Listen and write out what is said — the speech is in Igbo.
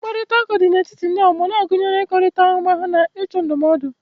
Mkparịta ụka dị n'etiti ndị ọgbọ na-agụnyekarị ịkọkọrịta ahụmahụ na ịchọ ndụmọdụ